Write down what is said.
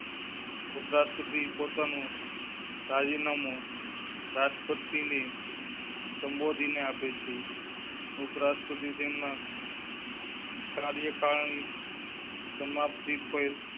ઉપરાષ્ટ્રપતિ પોતા નું રાજીનામુ રાષ્ટ્રપતિ ને. સંબોધીને આપી છે. ઉપરાષ્ટ્રપતિ તેમના . કાર્યકારિણી. સમાપ્તિ પેહલ